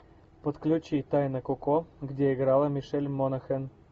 подключи тайна коко где играла мишель монахэн